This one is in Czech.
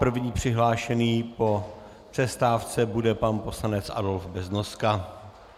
První přihlášený po přestávce bude pan poslanec Adolf Beznoska.